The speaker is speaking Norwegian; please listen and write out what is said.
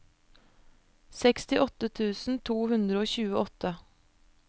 sekstiåtte tusen to hundre og tjueåtte